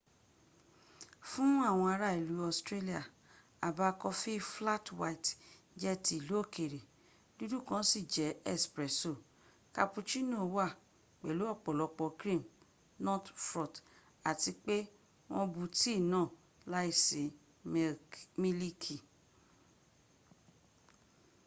fún àwọn ara ìlú australia àbá coffee flat white” jẹ́ ti ìlú òkèrè. dúdú kan sì jẹ́ espresso” cappuccino wá pẹ̀lú ọ̀pọ̀lọpọ̀ cream not frotth àti pé wọ́n bú tea náà láìsí mílíkì